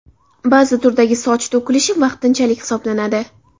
Ba’zi turdagi soch to‘kilishi vaqtinchalik hisoblanadi.